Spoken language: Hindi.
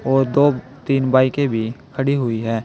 और दो तीन बाइके भी खड़ी हुई है।